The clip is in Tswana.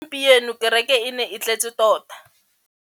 pieno kêrêkê e ne e tletse tota.